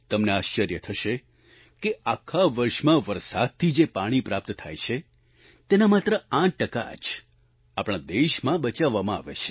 તમને આશ્ચર્ય થશે કે આખા વર્ષમાં વરસાદથી જે પાણી પ્રાપ્ત થાય છે તેના માત્ર 8 ટકા જ આપણા દેશમાં બચાવવામાં આવે છે